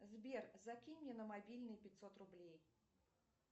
сбер закинь мне на мобильный пятьсот рублей